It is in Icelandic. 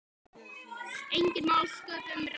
Enginn má sköpum renna.